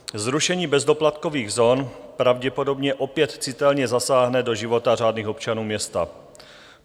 Zrušení bezdoplatkových zón pravděpodobně opět citelně zasáhne do života řádných občanů města.